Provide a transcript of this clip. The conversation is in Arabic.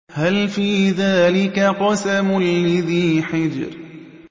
هَلْ فِي ذَٰلِكَ قَسَمٌ لِّذِي حِجْرٍ